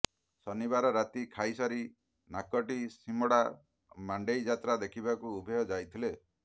ଶନିବାର ରାତି ଖାଇସାରି ନାକଟିସିମଡା ମଣ୍ଡେଇଯାତ୍ରା ଦେଖିବାକୁ ଉଭୟ ଯାଇଥିଲେ